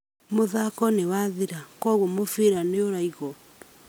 Mũthako nĩwathira kwoguo mũbira nĩũraigwo